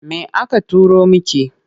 Me aka turo miki?